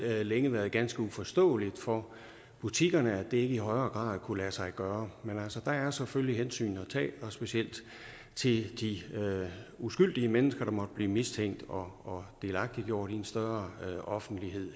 har længe været ganske uforståeligt for butikkerne at det ikke i højere grad har kunnet lade sig gøre men der er selvfølgelig hensyn at tage specielt til de uskyldige mennesker der måtte blive mistænkt og delagtiggjort i en større offentlighed i